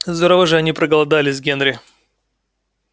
здорово же они проголодались генри